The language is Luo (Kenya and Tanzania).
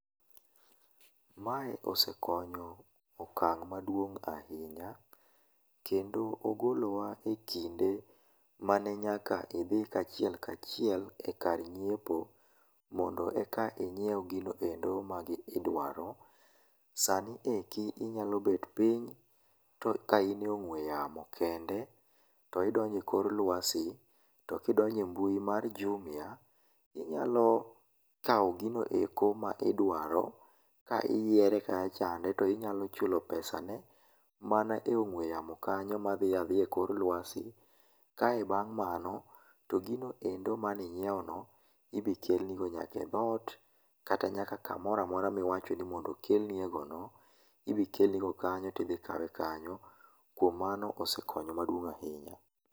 Mae osekonyo okang' maduong' ahinya. Kendo ogolowa e kinde mane nyaka idhi kachiel kachiel ekar nyiepo mondo eka inyiew gino endo ma idwaro. Sani eki inyalo bet piny ka in e ong'ue yamo kende, to idonjo ekor luasi, to kidonjo e mbui mar Jumia, inyalo kawo gigo eko ma idwaro ka iyiere kacha to inyalo chulo pesa ne mana e ong'ue yamo kanyo madhi adhiya ekor luasi kae bang' mano, to gino endo mane inyiewono ibi kelnigo nyaka e dhoot, kata nyaka kamoro amora miwacho ni mondo okelni egono. Idhi kelnigo kanyo, tidhi kawe kanyo. Kuom mano osekonyo maduong' ahinya.